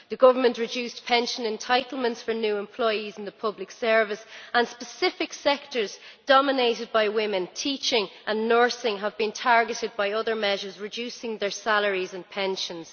The government reduced pension entitlements for new employees in the public service, and specific sectors dominated by women teaching and nursing have been targeted by other measures, reducing their salaries and pensions.